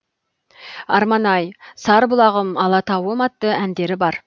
арман ай сарбұлағым алатауым атты әндері бар